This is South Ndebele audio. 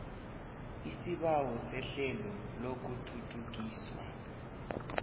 isibawo sehlelo lokuthuthukiswa